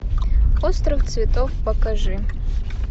остров цветов покажи